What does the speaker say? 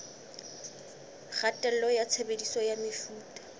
kgatello ya tshebediso ya mefuta